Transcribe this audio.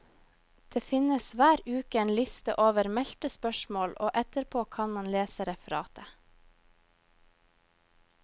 Det finnes hver uke en liste over meldte spørsmål og etterpå kan man lese referatet.